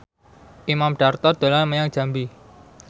Imam Darto dolan menyang Jambi